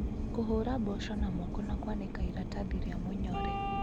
Kũhũra mboco na moko na kũanĩka iratathi rĩa mũnyore.